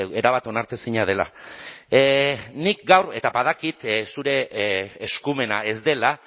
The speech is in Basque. erabat onartezina dela nik gaur eta badakit zure eskumena ez dela